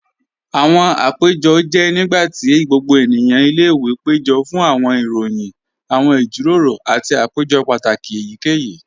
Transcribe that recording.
Awọn àpẹ̀jọ́ jẹ́ nígbàtí gbogbo ènìyàn ní ilẹ̀-ìwé pẹ̀jọ̀ fún awọn ìròyìn, awọn ìjíròrò, àti àpẹ̀jọ́ pátákì èyíkèyí.